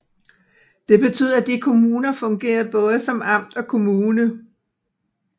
Det betød at de kommuner fungerede både som amt og kommune